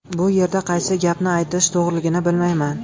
Bu yerda qaysi gapni aytish to‘g‘riligini bilmayman.